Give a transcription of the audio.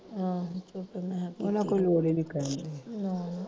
ਆਹੋ ਤੇ ਫਿਰ ਮੈਂ ਕੀਤੀ